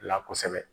La kosɛbɛ